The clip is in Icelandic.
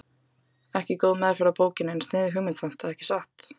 Ekki góð meðferð á bókinni en sniðug hugmynd samt, ekki satt?